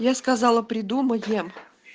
я сказала придумаем